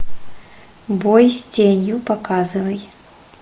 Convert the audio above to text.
бой с тенью показывай